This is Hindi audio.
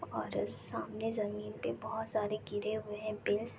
और सामने ज़मीन पे बोहोत सारे गिरे हुए है पेस ।